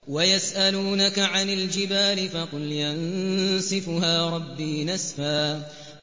وَيَسْأَلُونَكَ عَنِ الْجِبَالِ فَقُلْ يَنسِفُهَا رَبِّي نَسْفًا